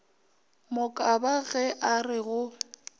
mokaba ge a re go